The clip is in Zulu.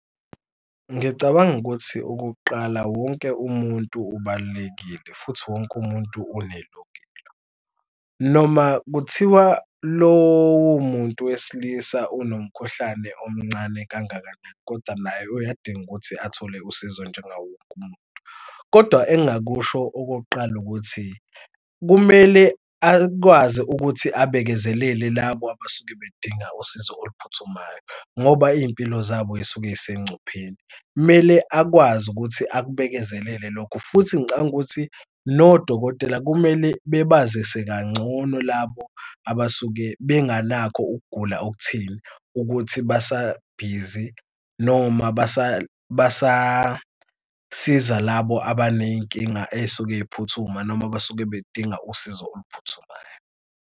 Ngicabanga ukuthi ukuqala wonke umuntu ubalulekile futhi wonke umuntu nelungelo. Noma kuthiwa lowo muntu wesilisa unomkhuhlane omncane kangakanani, koda naye uyadinga ukuthi athole usizo njengawo wonke umuntu. Kodwa engingakusho okokuqala ukuthi kumele akwazi ukuthi abekezelele labo abasuke bedinga usizo oluphuthumayo ngoba iy'mpilo zabo y'suke zisengcupheni. Kumele akwazi ukuthi abekezelele lokho futhi ngicabanga ukuthi nodokotela kumele bebazise kangcono labo abasuke benganako ukugula okutheni ukuthi basabhizi noma basasiza labo abaney'nkinga ey'suke y'phuthuma noma besuke bedinga usizo oluphuthumayo.